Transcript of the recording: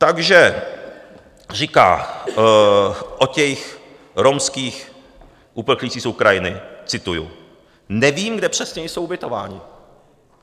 Takže říká o těch romských uprchlících z Ukrajiny, cituji: "Nevím, kde přesně jsou ubytováni."